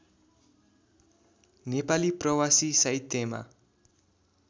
नेपाली प्रवासी साहित्यमा